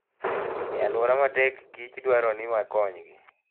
E alwora matek kich dwaro ni wakonygi.